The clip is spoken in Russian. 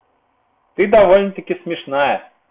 ты довольно таки смешная